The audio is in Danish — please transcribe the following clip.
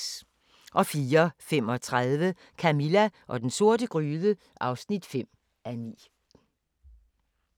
04:35: Camilla og den sorte gryde (5:9)